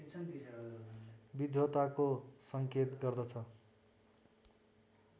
विद्वताको सङ्केत गर्दछ